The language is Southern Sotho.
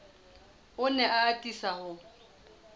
o ne a atisa ho